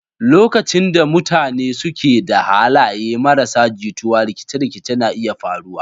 Lokacin da mutane ke da halaye marasa jituwa, rikice-rikice na iya faruwa.